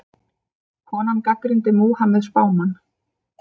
Konan gagnrýndi Múhameð spámann